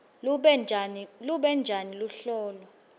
lube njani luhlolo